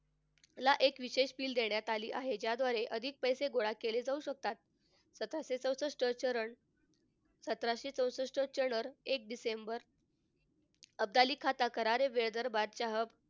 ला एक विशेष देण्यात आली आहे ज्याद्वारे अधिक पैसे गोळा केले जाऊ शकतात. सतराशे चौसष्ट चरण सतराशे चौसष्ट चरण एक डिसेंबर अब्दालीकरता